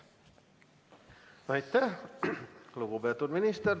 Aitäh, lugupeetud minister!